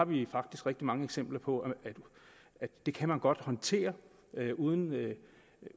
vi har faktisk rigtig mange eksempler på at det kan man godt håndtere uden